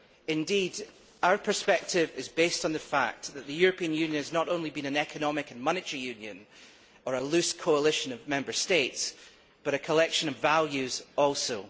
Indeed, our perspective is based on the fact that the European Union has not only been an economic and monetary union, or a loose coalition of Member States, but a collection of values also.